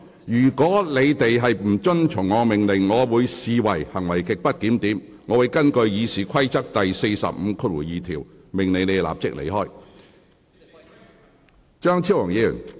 如議員不遵從我的命令，我會視之為行為極不檢點，並會根據《議事規則》第452條，命令有關議員立即離開會議廳。